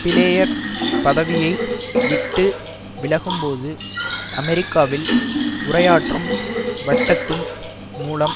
player பதவியை விட்டு விலகும்போது அமெரிக்காவில் உரையாற்றும் வட்டத்தின் மூலம்